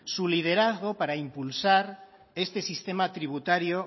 su liderazgo para impulsar este sistema tributario